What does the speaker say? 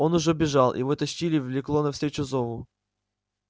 он уже бежал его тащило влекло навстречу зову